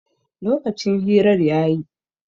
Lokacin hirar ya yi